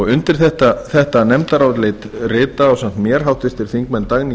undir þetta nefndarálit rita ásamt mér háttvirtir þingmenn dagný